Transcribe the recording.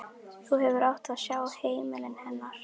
Þú hefðir átt að sjá heimili hennar.